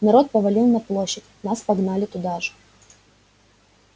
народ повалил на площадь нас погнали туда же